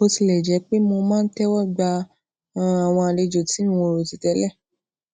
bó tilè jé pé mo máa ń téwó gba um àwọn àlejò tí n ò rò tì télè